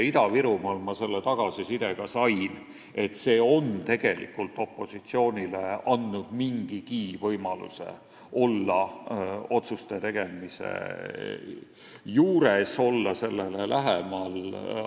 Ida-Virumaal sain ma ka tagasiside, et see on opositsioonile andnud mingigi võimaluse olla otsuste tegemise juures, olla sellele lähemal.